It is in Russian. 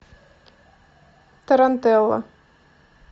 тарантелла